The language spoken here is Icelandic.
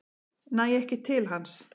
Næ ekki til hans.